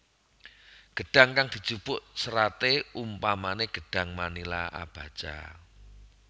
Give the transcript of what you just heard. Gedhang kang dijupuk seraté umpamané gedhang manila abaca